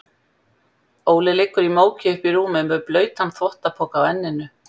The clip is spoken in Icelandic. Óli liggur í móki uppí rúmi með blautan þvottapoka á enninu.